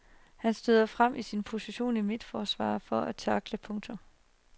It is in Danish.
Han støder frem fra sin position i midterforsvaret for at tackle. punktum